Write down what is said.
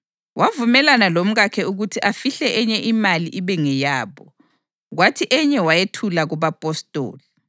Wavumelana lomkakhe ukuthi afihle enye imali ibe ngeyabo, kwathi enye wayethula kubapostoli.